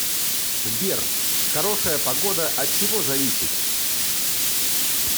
сбер хорошая погода от чего зависит